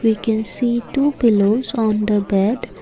we can see two pillows on the bed.